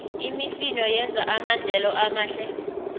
imifino yenza amadlelo amahle